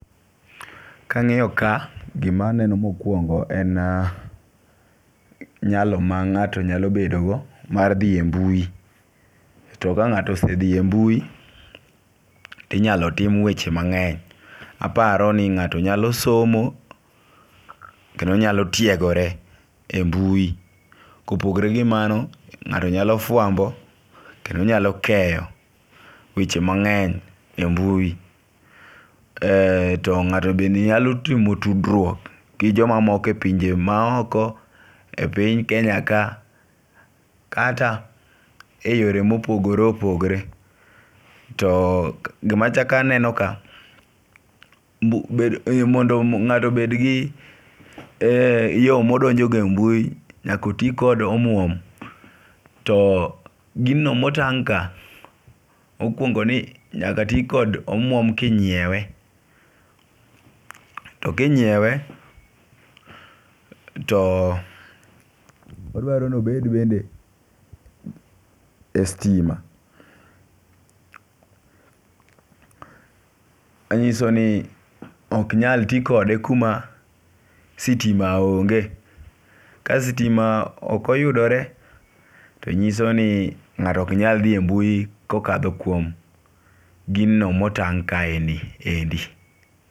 Kang'iyo ka gimaneno mokwongo en nyalo ma ng'ato nyalo bedo go mar dhi e mbui to ka ng'ato osedhi e mbui tinyalo tim weche mang'eny. Aparo ni ng'ato nyalo somo kendo nyalo tiegore e mbui .Kopogre gi mano ng'ato nyalo fwambo kendo nyalo keyo weche mang'eny e mbui e to ng'ato be nyalo timo tudruok gi jomamoko e pinje maoko, e piny kenya ka kata e yore mopogre opogore .To gimachak aneno ka bed mondo ngato obed gi yoo modonjo go e mbui nyako tii kod omwom. To gino motang' ka mokwongo ni nyaka tii kdo omwom kinyiewe. To kinyiewe to odwaro nobed bende e stima. Manyiso ni ok nyal tii kode kuma sitima onge . Kasitima ok oyudore to nyiso ni ng'ato ok nyal dhi e mbui kokadho kuom gino motang' kaeni endi.